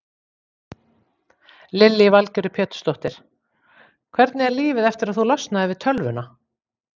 Lillý Valgerður Pétursdóttir: Hvernig er lífið eftir að þú losnaðir við tölvuna?